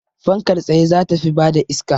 Fankar tsaye za ta fi bada iska